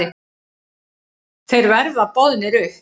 Þeir verða boðnir upp.